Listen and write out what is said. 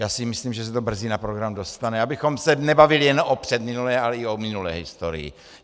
Já si myslím, že se to brzy na program dostane, abychom se nebavili jen o předminulé, ale i o minulé historii.